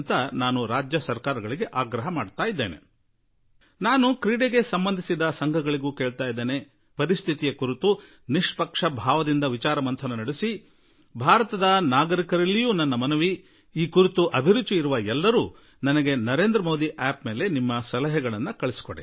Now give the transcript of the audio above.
ನಾನು ಕ್ರೀಡಾಲೋಕಕ್ಕೆ ಸಂಬಂಧಪಟ್ಟ ಸಂಘಗಳೂ ನಿಷ್ಪಕ್ಷಪಾತವಾಗಿ ಮತ್ತು ಭಾರತದ ಪ್ರತಿಯೊಬ್ಬ ಪೌರನೂ ಅವರಿಗೆ ಯಾವ ಕ್ರೀಡೆಯಲ್ಲಿ ಅಭಿರುಚಿ ಇದೆಯೋ ಅದರ ಬಗ್ಗೆ ನನಗೆ ನರೇಂದ್ರ ಮೋದಿ ಂಠಿಠಿನಲ್ಲಿ ಸಲಹೆ ಕಳುಹಿಸಿ ಎಂದು ಆಗ್ರಹಪಡಿಸುವೆ